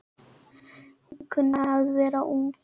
Hún kunni að vera ung.